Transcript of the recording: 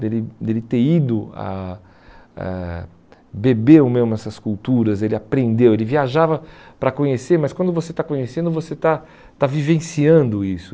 dele dele ter ido a a beber o mel nessas culturas, ele aprendeu, ele viajava para conhecer, mas quando você está conhecendo, você está está vivenciando isso.